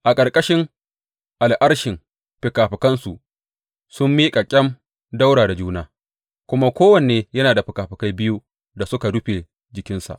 A ƙarƙashin al’arshin fikafikansu sun miƙe kyam ɗaura da juna, kuma kowanne yana da fikafikai biyu da suka rufe jikinsa.